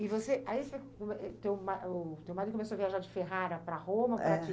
E você, aí o teu marido começou a viajar de ferrara para Roma para te. É.